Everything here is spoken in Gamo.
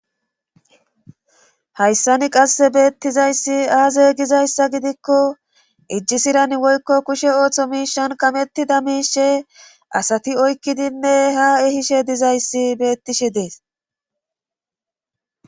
hayssani qasse beettizayssi aazaye gizayssa gidikko ijjisiran woykko kushe ooththo miishan kamettida miishe asati oykkidinne ha ehishe dizayssi beettishe dees